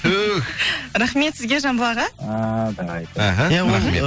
түһ рахмет сізге жамбыл аға ыыы давай іхі рахмет